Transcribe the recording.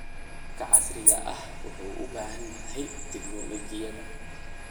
Waraabka casriga ahi wuxuu u baahan yahay tignoolajiyada.